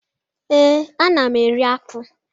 Ee, ana m eri akpụ